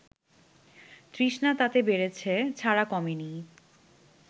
তৃষ্ণা তাতে বেড়েছে ছাড়া কমেনি